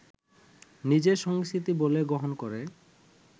নিজের সংস্কৃতি বলে গ্রহণ করে